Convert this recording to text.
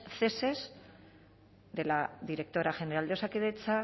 ceses de la directora general de osakidetza